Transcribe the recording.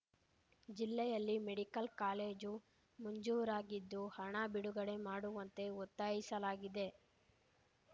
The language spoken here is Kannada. ಜಿಲ್ಲೆಯಲ್ಲಿ ಮೆಡಿಕಲ್‌ ಕಾಲೇಜು ಮಂಜೂರಾಗಿದ್ದು ಹಣ ಬಿಡುಗಡೆ ಮಾಡುವಂತೆ ಒತ್ತಾಯಿಸಲಾಗಿದೆ